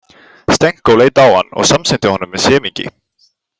Stenko leit á hann og samsinnti honum með semingi.